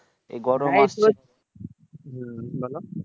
হম বলো